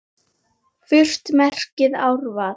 Furt merkir árvað.